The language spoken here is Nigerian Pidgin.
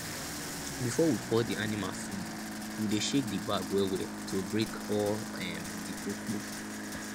before we pour di animal food we dey shake di bag wellwell to break all um di kpokpo